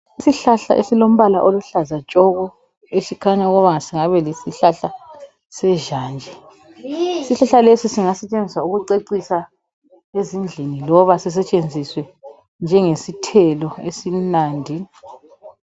Isihlahla esilombala oluhlaza tshoko esikhanya ukuba singabe yisihlahla sezhanje. Isihlahla lesi singasetshenziswa ukucecisa endlini loba sisetshenziswe njengesithelo esimnandi.